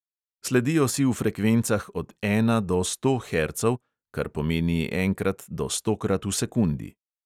Sledijo si v frekvencah od ena do sto hercov, kar pomeni enkrat do stokrat v sekundi.